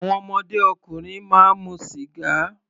Àwọn ọmọdé ọkùnrin máa mu sìgá.